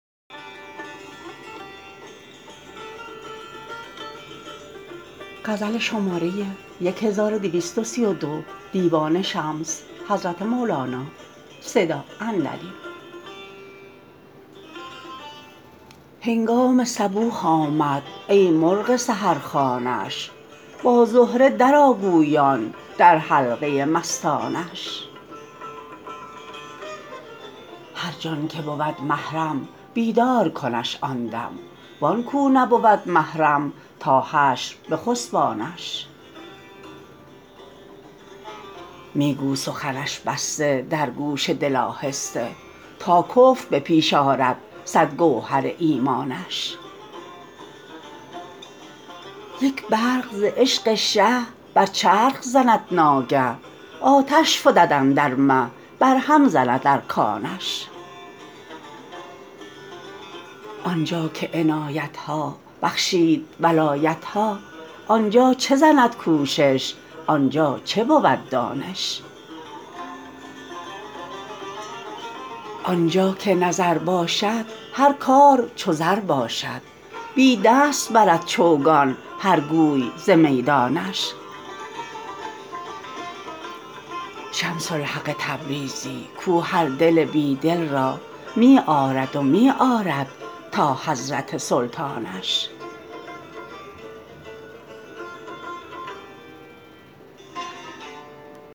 هنگام صبوح آمد ای مرغ سحرخوانش با زهره درآ گویان در حلقه مستانش هر جان که بود محرم بیدار کنش آن دم وان کو نبود محرم تا حشر بخسبانش می گو سخنش بسته در گوش دل آهسته تا کفر به پیش آرد صد گوهر ایمانش یک برق ز عشق شه بر چرخ زند ناگه آتش فتد اندر مه برهم زند ارکانش آن جا که عنایت ها بخشید ولایت ها آن جا چه زند کوشش آن جا چه بود دانش آن جا که نظر باشد هر کار چو زر باشد بی دست برد چوگان هر گوی ز میدانش شمس الحق تبریزی کو هر دل بی دل را می آرد و می آرد تا حضرت سلطانش